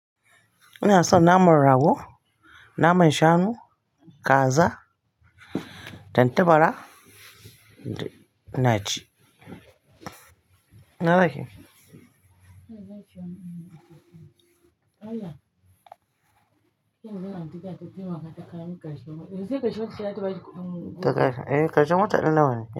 Ina son naman rago, naman shanu, kaza, tattabara ina ci. Na dake. Eh, karshen wata ɗin nan.